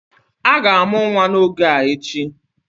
A ga-amụ nwa n'oge a echi